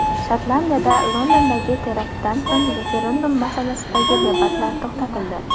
Shotlandiyada Londondagi teraktdan so‘ng referendum masalasidagi debatlar to‘xtatildi.